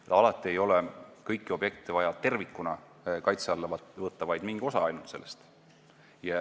Kõiki objekte ei ole alati vaja tervikuna kaitse alla võtta, võib võtta ainult mingi osa objektist.